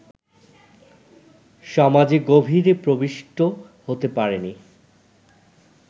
সমাজে গভীরে প্রবিষ্ট হতে পারেনি